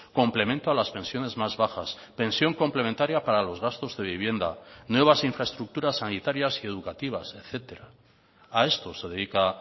complemento a las pensiones más bajas pensión complementaria para los gastos de vivienda nuevas infraestructuras sanitarias y educativas etcétera a esto se dedica